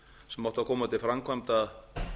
sem átti að koma til framkvæmda